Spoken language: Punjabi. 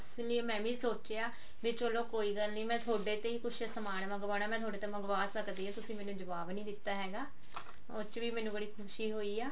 ਇਸ ਲਈ ਮੈਂ ਵੀ ਸੋਚਿਆ ਵੀ ਚਲੋ ਕੋਈ ਗੱਲ ਨੀ ਮੈਂ ਥੋੜੇ ਤੋਂ ਹੀ ਕੁਛ ਮੰਗਵਾਉਣਾ ਮੈਂ ਥੋਡੇ ਮੈਂ ਥੋਡੇ ਤੇ ਮੰਗਵਾ ਸਕਦੀ ਹਾਂ ਤੁਸੀਂ ਮੈਨੂੰ ਜਵਾਬ ਨੀ ਦਿੱਤਾ ਹੈਗਾ ਉਹ ਚ ਵੀ ਮੈਨੂੰ ਬੜੀ ਖੁਸ਼ੀ ਹੋਈ ਆ